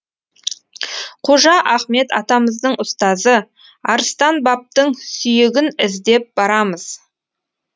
қожа ахмет атамыздың ұстазы арыстан бабтың сүйегін іздеп барамыз